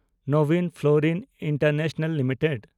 Nabin Florin international limited